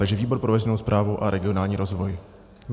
Takže výbor pro veřejnou správu a regionální rozvoj.